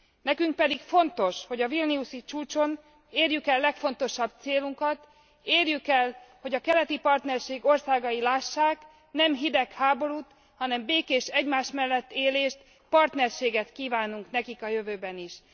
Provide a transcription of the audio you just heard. Nekünk pedig fontos, hogy a vilniusi csúcson érjük el legfontosabb célunkat érjük el, hogy a keleti partnerség országai lássák, nem hidegháborút, hanem békés egymás mellett élést, partnerséget kívánunk nekik a jövőben is.